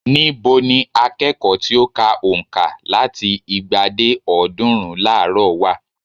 Ní bo ni akẹ́kọ̀ọ́ tí ó ka ònka láti igba dé ọ̀ọ́dúnrún láàárò wà?